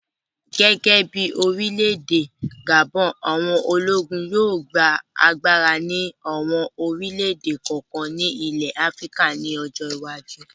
Gẹ́gẹ́ bí orílẹ̀-èdè Gabon, àwọn ológun yóò gba agbára ní àwọn orílẹ̀-èdè kọ̀ọ̀kan ní ilẹ̀ Áfíríkà ní ọjọ́ iwájú